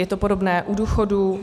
Je to podobné u důchodů.